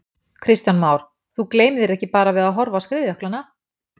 Kristján Már: Þú gleymir þér ekki bara við að horfa á skriðjöklana?